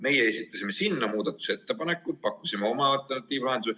Meie esitasime selle kohta muudatusettepanekud, pakkusime oma alternatiivse lahenduse.